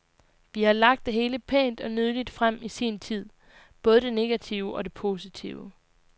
Vi har lagt det hele pænt og nydeligt frem i sin tid, både det negative og det positive.